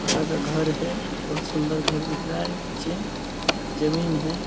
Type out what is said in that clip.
पक्का का घर है। बहुत सुन्दर घर दिख रहा है। पीछे जमीन है।